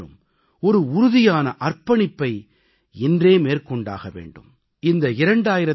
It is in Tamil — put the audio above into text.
அதற்கு நாம் அனைவரும் ஒரு உறுதியான அர்ப்பணிப்பை இன்றே மேற்கொண்டாக வேண்டும்